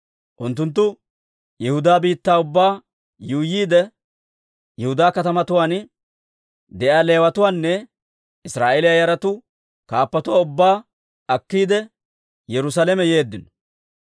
Unttunttu Yihudaa biittaa ubbaa yuuyyiide, Yihudaa katamatuwaan de'iyaa Leewatuwaanne Israa'eeliyaa yaratuu kaappatuwaa ubbaa akkiide, Yerusaalame yeeddino.